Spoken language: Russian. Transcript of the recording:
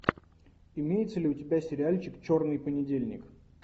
имеется ли у тебя сериальчик черный понедельник